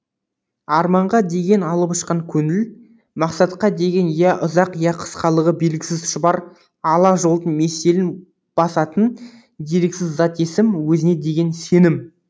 арманға деген алып ұшқан көңіл мақсатқа деген я ұзақ я қысқалығы белгісіз шұбар ала жолдың меселін басатын дерексіз зат есім өзіңе деген сенім